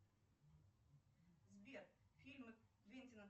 сбер фильмы квентина